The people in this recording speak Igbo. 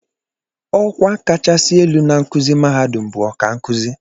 Ọkwa kachasị elu na nkụzi mahadum bụ ọkankụzi